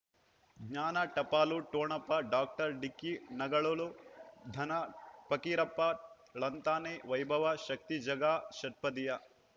ಜ್ಞಾನ ಟಪಾಲು ಠೊಣಪ ಡಾಕ್ಟರ್ ಢಿಕ್ಕಿ ಣಗಳಳು ಧನ ಫಕೀರಪ್ಪ ಳಂತಾನೆ ವೈಭವ್ ಶಕ್ತಿ ಝಗಾ ಷಟ್ಪದಿಯ